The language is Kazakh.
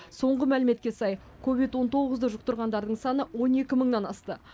соңғы мәліметке сай ковид он тоғызды жұқтырғандардың саны он екі мыңнан асты